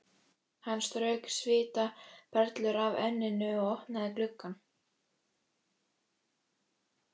Hann strauk svitaperlur af enninu og opnaði gluggann.